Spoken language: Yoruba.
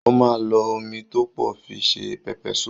Ó máa lo omi tó pọ̀ fi se Pepper soup